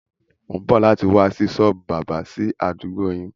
Mo ń bọ̀ láti wá sí sọ́ọ́bù báábà sì àdúgbò yín.